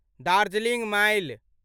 Darjeeling mile